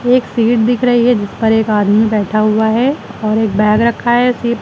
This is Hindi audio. एक सीट दिख रही है जिस पर एक आदमी बैठा हुआ है और एक बैग रखा है सी--